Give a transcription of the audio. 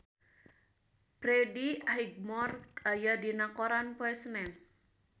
Freddie Highmore aya dina koran poe Senen